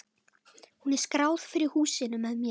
Hún er skráð fyrir húsinu með mér.